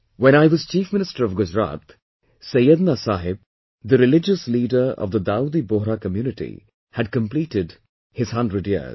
When I was Chief Minister of Gujarat, Syedna Sahib the religious leader of Dawoodi Bohra Community had completed his hundred years